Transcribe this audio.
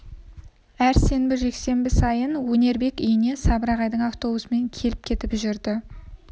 әр сенбі жексенбі сайын өнербек үйіне сабыр ағайдың автобусымен келіп кетіп жүрді